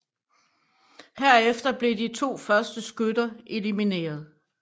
Herefter bliver de to første skytter blev elimineret